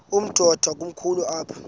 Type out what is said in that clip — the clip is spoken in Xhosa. umdudo komkhulu apha